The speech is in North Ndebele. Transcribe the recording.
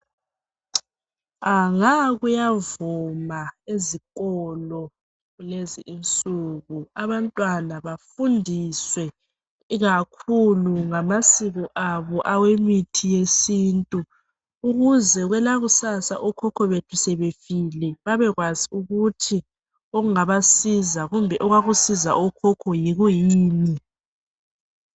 Nga kuyavuma ezikolo kulezinsuku abantwana bafundiswe ikakhulu ngamasiko abo awemithi yesintu ukuze kwelakusasa okhokho bethu sebefile babekwazi ukuthi okungaba siza kumbe okwakusiza okhokho yikuyini.